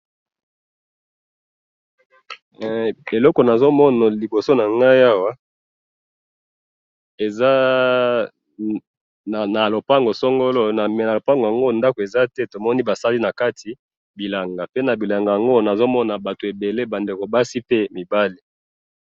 eloko nazomona liboso nangai awa eza na lupangu songolo na lupangu yango ndaku eza te tomoni basali nakati bilanga pe na bilanga yango nazomona batu ebele bandeko basi pe mibali